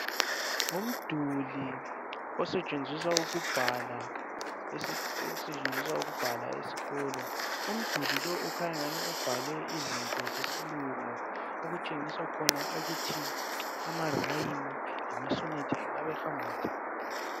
Ngumduli osetshenziswa ukubhala esikolo. Umduli lo ukhanya engani ubhale izinto zesilungu, okutshengisa khona ukuthi amarhyme lama sonnet engabe ehamba njani.